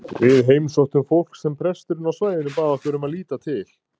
Við heimsóttum fólk sem presturinn á svæðinu bað okkur um að líta til.